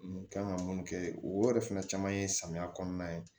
N kan ka mun kɛ o yɛrɛ fɛnɛ caman ye samiya kɔnɔna ye